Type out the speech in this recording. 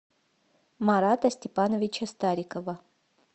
марата степановича старикова